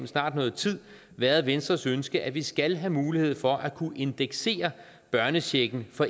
snart noget tid været venstres ønske at vi skal have mulighed for at kunne indeksere børnechecken for